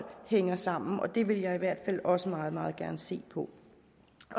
hænger sammen og det vil jeg i hvert fald også meget meget gerne se på